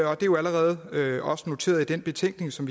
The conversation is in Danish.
er jo allerede også noteret i den betænkning som